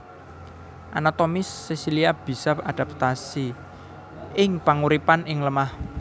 Anatomi sesilia bisa adaptasi ing panguripan ing lemah